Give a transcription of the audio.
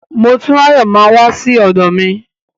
Motúnráyọ̀ máa wá sí ọ̀dọ̀ mi.